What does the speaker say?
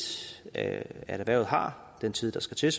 at erhvervet har den tid der skal til